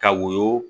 Ka woyo